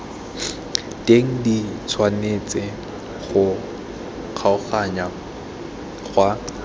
teng di tshwanetse go kgaoganngwa